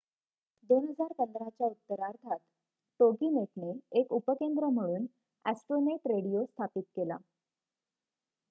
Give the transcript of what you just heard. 2015 च्या उत्तरार्धात टोगीनेटने एक उपकेंद्र म्हणून ॲस्ट्रोनेट रेडिओ स्थापित केला